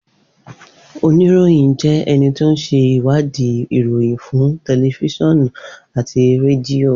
Onirohin jẹ́ ẹni tí ó ṣe wadi ìròyìn fún tẹlifiṣionu àti rẹdìo